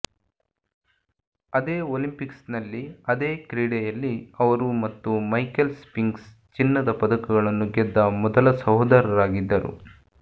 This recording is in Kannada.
ಅದೇ ಒಲಿಂಪಿಕ್ಸ್ನಲ್ಲಿ ಅದೇ ಕ್ರೀಡೆಯಲ್ಲಿ ಅವರು ಮತ್ತು ಮೈಕೆಲ್ ಸ್ಪಿಂಕ್ಸ್ ಚಿನ್ನದ ಪದಕಗಳನ್ನು ಗೆದ್ದ ಮೊದಲ ಸಹೋದರರಾಗಿದ್ದರು